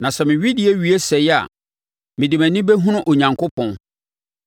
Na sɛ me wedeɛ wie sɛe a, mede mʼani bɛhunu Onyankopɔn.